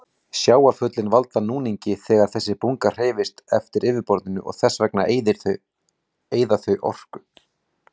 Sjávarföllin valda núningi þegar þessi bunga hreyfist eftir yfirborðinu og þess vegna eyða þau orku.